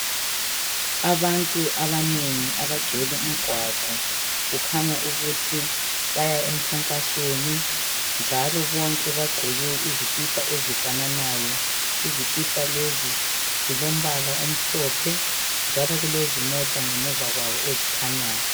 Abantu abanengi abagcwele umgwaqo, kukhanya ukuthi baya emkhankasweni, njalo bonke bagqoke izikipa ezifananayo. Izikipa lezi zilombala omhlophe, njalo kulezimota ngemuva kwabo ezikhanyayo..